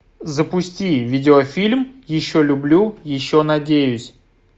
запусти видеофильм еще люблю еще надеюсь